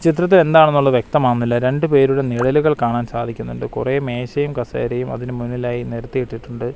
ചിത്രത്തിൽ എന്താണെന്നുള്ളത് വ്യക്തമാകുന്നില്ല രണ്ട് പേരുടെ നിഴലുകൾ കാണാൻ സാധിക്കുന്നുണ്ട് കുറെ മേശയും കസേരയും അതിന് മുന്നിലായി നെരത്തി ഇട്ടിട്ടുണ്ട്.